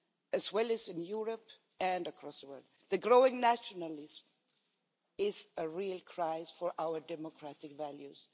as well as in Europe and across the world. The growing nationalism is a real crisis for our democratic values.